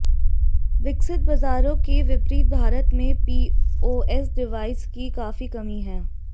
विकसित बाजारों के विपरीत भारत में पीओएस डिवाइस की काफी कमी है